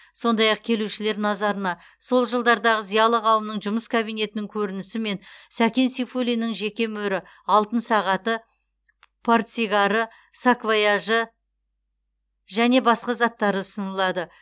сондай ақ келушілер назарына сол жылдардағы зиялы қауымның жұмыс кабинетінің көрінісі мен сәкен сейфуллиннің жеке мөрі алтын сағаты портсигары саквояжы және басқа заттары ұсынылады